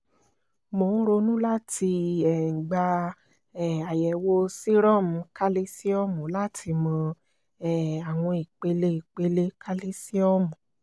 mo n ronu lati um gba um ayẹwo serum kalisiomu lati mọ um awọn ipele ipele kalisiomu